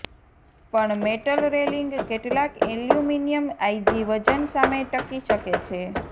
પણ metal railing કેટલાક aluminium આઇજી વજન સામે ટકી શકે છે